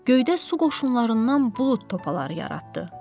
Göydə su qoşunlarından bulud topaları yaratdı.